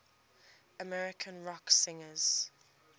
american rock singers